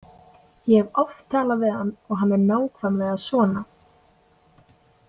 Ég hef oft talað við hann og hann er nákvæmlega svona.